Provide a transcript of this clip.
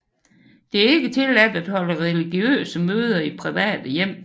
Det er ikke tilladt at holde religiøse møder i private hjem